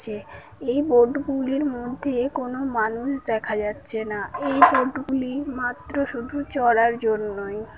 যে এই বোট গুলির মধ্যে কোন মানুষ দেখা যাচ্ছে না এই বোট গুলি মাত্র শুধু চড়ার জন্যই ।